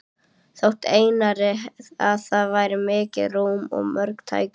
Þótti Einari, að þar væri mikið rúm og mörg tæki.